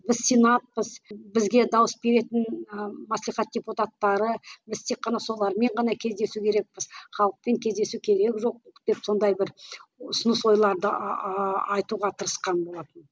біз сенатпыз бізге дауыс беретін ы маслихат депутаттары біз тек қана солармен ғана кездесу керекпіз халықпен кездесу керек жоқ деп сондай бір ұсыныс ойларды айтуға тырысқан болатын